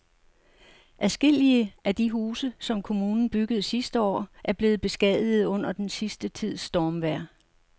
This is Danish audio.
Adskillige af de huse, som kommunen byggede sidste år, er blevet beskadiget under den sidste tids stormvejr.